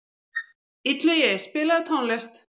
Illugi, spilaðu tónlist.